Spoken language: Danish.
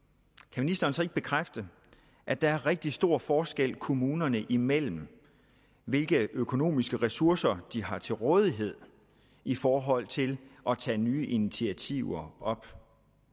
kan ministeren så ikke bekræfte at der er rigtig stor forskel kommunerne imellem hvilke økonomiske ressourcer de har til rådighed i forhold til at tage nye initiativer op